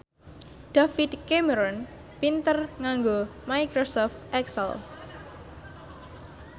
David Cameron pinter nganggo microsoft excel